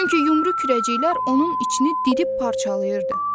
Çünki yumru kürəciklər onun içini didib parçalayırdı.